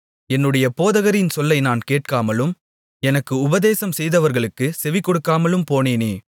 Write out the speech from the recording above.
என்னுடைய போதகரின் சொல்லை நான் கேட்காலும் எனக்கு உபதேசம்செய்தவர்களுக்கு செவிகொடுக்காமலும் போனேனே